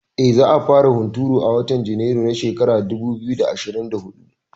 Eh, za a fara hunturu a watan Junairu na shekara dubu biyu da ashirin da huɗu